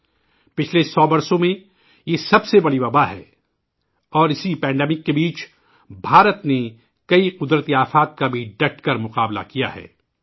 یہ پچھلے 100 سال میں اب تک کی سب سے بڑی وباء ہے اور اس عالمی وباء کے دوران بھارت کو کئی قدرتی آفات سے بھی نمٹنا پڑا ہے